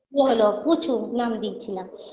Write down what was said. ও হলো পুচু নাম দিয়েছিলাম